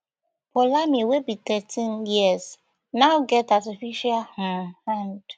poulami wey be thirteen years now get artificial um hand